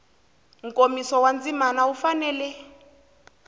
nkomiso wa ndzima wu fanele